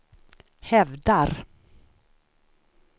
hävdar